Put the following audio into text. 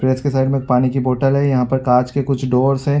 Press के side में एक पानी की बोटल है यहाँ पर कांच के कुछ डोर्स है।